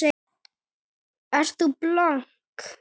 Ert þú blönk?